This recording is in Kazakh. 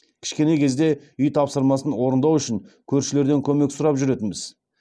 кішкене кезде үй тапсырмасын орындау үшін көршілерден көмек сұрап жүретінбіз